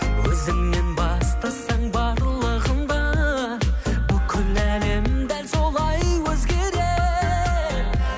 өзіңнен бастасаң барлығында бүкіл әлем дәл солай өзгереді